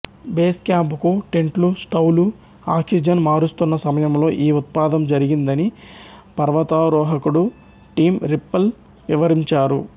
base camp కు టెంట్లు స్టౌలు ఆక్సిజన్ మారుస్తున్న సమయంలో ఈ ఉత్పాతం జరిగిందని పర్వతారోహకుడు టిం రిప్పిల్ వివరించారు